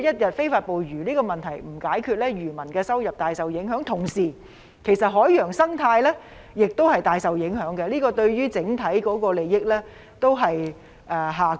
這個問題一旦未能解決，漁民收入便會受到影響，海洋生態也會大受影響，整體利益亦會下降。